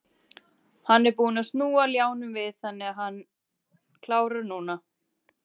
Hann er búinn að snúa ljánum við þannig að hann klárar núna.